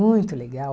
Muito legal.